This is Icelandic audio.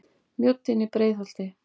Mjóddin í Breiðholti.